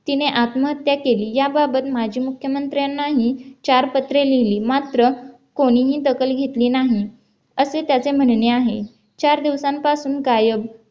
तिने आत्महत्या केली याबाबत माजी मुख्यमंत्र्यांनाही चार पत्रे लिहिली मात्र कोणीही दखल घेतली नाही असे त्याचे म्हणणे आहे चार दिवसांपासून गायब बापू